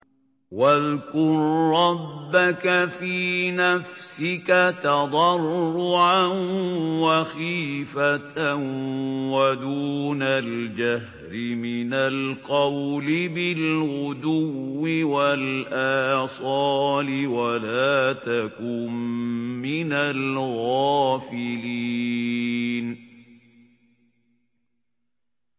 وَاذْكُر رَّبَّكَ فِي نَفْسِكَ تَضَرُّعًا وَخِيفَةً وَدُونَ الْجَهْرِ مِنَ الْقَوْلِ بِالْغُدُوِّ وَالْآصَالِ وَلَا تَكُن مِّنَ الْغَافِلِينَ